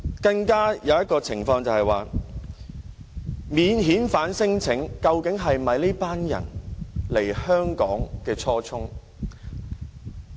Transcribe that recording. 另一點是，提出免遣返聲請究竟是否這群人來香港的初衷？